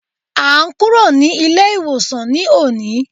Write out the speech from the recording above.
À n kúrò ní ilé ìwòsàn ní òní